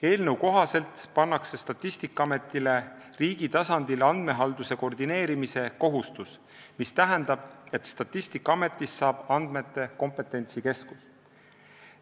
Eelnõu kohaselt pannakse Statistikaametile riigi tasandil andmehalduse koordineerimise kohustus, mis tähendab, et Statistikaametist saab andmete kompetentsikeskus.